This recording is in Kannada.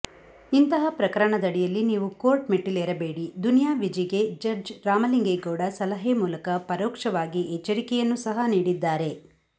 ಇಂತಹ ಪ್ರಕರಣದಡಿಯಲ್ಲಿ ನೀವು ಕೋರ್ಟ್ ಮೆಟ್ಟಿಲೇರಬೇಡಿ ದುನಿಯಾ ವಿಜಿಗೆ ಜಡ್ಜ್ ರಾಮಲಿಂಗೇಗೌಡ ಸಲಹೆ ಮೂಲಕ ಪರೋಕ್ಷವಾಗಿ ಎಚ್ಚರಿಯನ್ನೂ ಸಹ ನೀಡಿದ್ದಾರೆ